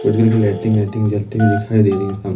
कुछ कलर की लाइटिंग वाइटिंग जलती हुई दिखाई दे रही हैं इस कम--